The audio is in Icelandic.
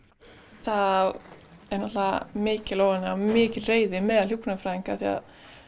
það er náttúrulega mikil óánægja og mikil reiði meðal hjúkrunarfræðinga því